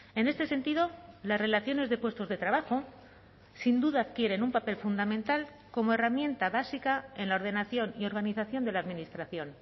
en este sentido las relaciones de puestos de trabajo sin duda adquieren un papel fundamental como herramienta básica en la ordenación y organización de la administración